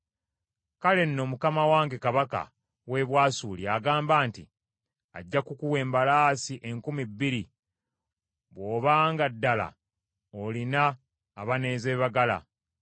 “ ‘Kale nno Mukama wange Kabaka w’e Bwasuli agamba nti, Ajja kukuwa embalaasi enkumi bbiri bw’obanga ddala olina abanaazeebagala.